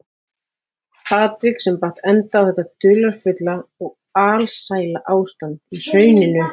Atvik sem batt enda á þetta dularfulla og alsæla ástand í hrauninu.